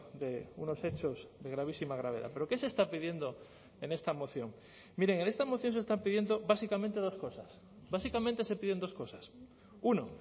de unos hechos de gravísima gravedad pero qué se está pidiendo en esta moción miren en esta moción se están pidiendo básicamente dos cosas básicamente se piden dos cosas uno